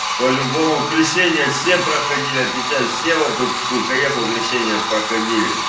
по-любому крещения все проходили отвечают все вот у каефа крещение проходили